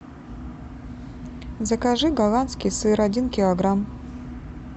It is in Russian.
закажи голландский сыр один килограмм